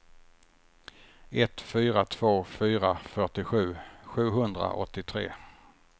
ett fyra två fyra fyrtiosju sjuhundraåttiotre